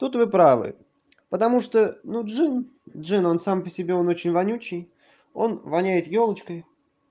тут вы правы потому что ну джин джин он сам по себе он очень вонючий он воняет ёлочкой